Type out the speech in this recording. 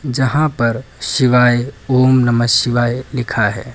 यहां पर शिवाय ओम नमः शिवाय लिखा है।